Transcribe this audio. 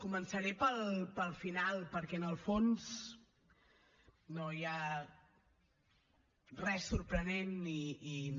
començaré pel final perquè en el fons no hi ha res sorprenent i no